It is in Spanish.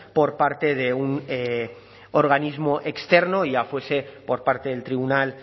por parte de un organismo externo ya fuese por parte del tribunal